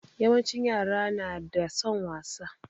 Yawancin yara na da son wasa.